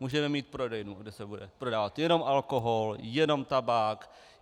Můžeme mít prodejnu, kde se bude prodávat jenom alkohol, jenom tabák.